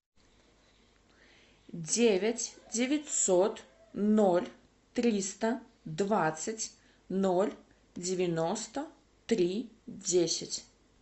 девять девятьсот ноль триста двадцать ноль девяносто три десять